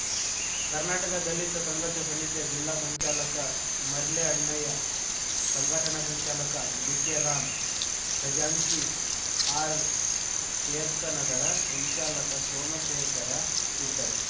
ಕರ್ನಾಟಕ ದಲಿತ ಸಂಘರ್ಷ ಸಮಿತಿಯ ಜಿಲ್ಲಾ ಸಂಚಾಲಕ ಮರ್ಲೆ ಅಣ್ಣಯ್ಯ ಸಂಘಟನಾ ಸಂಚಾಲಕ ಡಿಕೆರಾಮ್ ಖಜಾಂಚಿ ಆರ್‌ಶೇರ್ಖ್ ನಗರ ಸಂಚಾಲಕ ಸೋಮಶೇಖರ ಇದ್ದರು